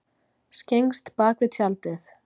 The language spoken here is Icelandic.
Skyggnst bakvið tjaldið